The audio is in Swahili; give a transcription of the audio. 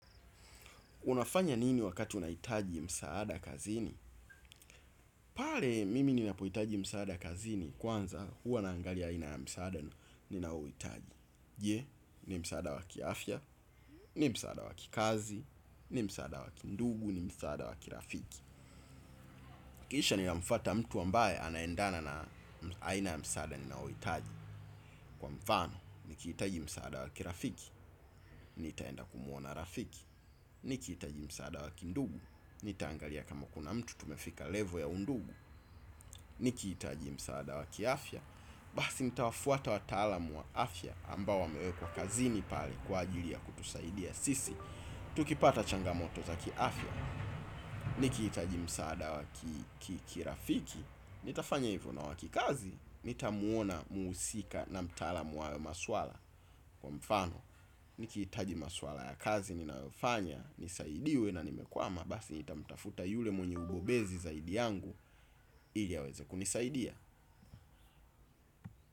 Unafanya nini wakati unahitaji msaada kazini? Pale mimi ninapohitaji msaada kazini kwanza huwa naangalia aina ya msaada ninaouhitaji. Je, ni msaada wa kiafya, ni msaada wa kikazi, ni msaada wa kindugu, ni msaada wa kirafiki. Kisha ninamfuata mtu ambaye anaendana na aina ya msaada ninaouhitaji, kwa mfano. Nikihitaji msaada wa kirafiki, nitaenda kumuona rafiki. Nikihitaji msaada wa kindugu, nitaangalia kama kuna mtu tumefika level ya undugu, nikihitaji msaada wa kiafya, basi nitawafuata watalam wa afya ambao wamewekwa kazini pale kwa ajili ya kutusaidia sisi tukipata changamoto za kiafya, nikihitaji msaada wa ki ki kirafiki, nitafanya hivyo na wakikazi, nitamuona muusika na mtaalam wa maswala, kwa mfano. Nikihitaji maswala ya kazi ninayofanya nisaidiwe na nimekwama basi nitamtafuta yule mwenye ubobezi zaidi yangu ili aweze kunisaidia.